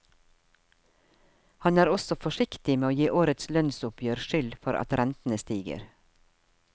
Han er også forsiktig med å gi årets lønnsoppgjør skyld for at rentene stiger.